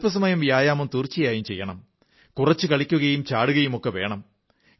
അല്പസ്വല്പം വ്യായാമം തീർച്ചയായും ചെയ്യണം കുറച്ച് കളിക്കയും ചാടുകയുമൊക്കെ വേണം